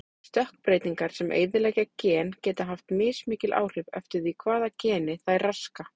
Stökkbreytingar sem eyðileggja gen geta haft mismikil áhrif eftir því hvaða geni þær raska.